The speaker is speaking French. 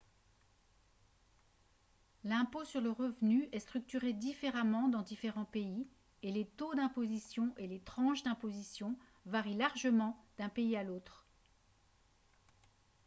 l'impôt sur le revenu est structuré différemment dans différents pays et les taux d'imposition et les tranches d'imposition varient largement d'un pays à l'autre